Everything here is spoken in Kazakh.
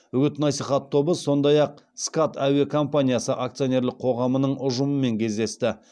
үгіт насихат тобы сондай ақ скат әуе компаниясы акционерлік қоғамының ұжымымен кездесті